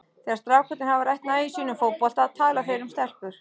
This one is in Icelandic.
Þegar strákarnir hafa rætt nægju sína um fótbolta tala þeir um stelpur.